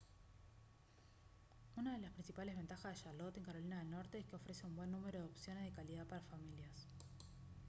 una de las principales ventajas de charlotte en carolina del norte es que ofrece un buen número de opciones de calidad para familias